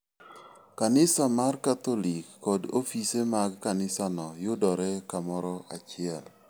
Kanisa mar Katholik kod ofise mag kanisano yudore kamoro achiel.